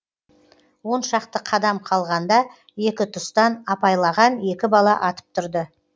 он шақты қадам қалғанда екі тұстан апайлаған екі бала атып тұрды